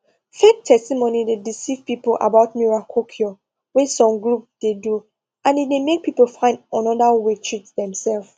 fake testimony dey deceive people about miracle cure wey some group dey do and e dey make people find another way treat demself